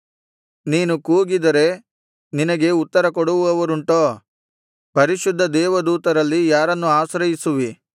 ನೀನು ಕೂಗಿದರೆ ನಿನಗೆ ಉತ್ತರಕೊಡುವವರುಂಟೋ ಪರಿಶುದ್ಧ ದೇವದೂತರಲ್ಲಿ ಯಾರನ್ನು ಆಶ್ರಯಿಸುವಿ